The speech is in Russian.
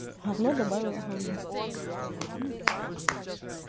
гавно добавила гавно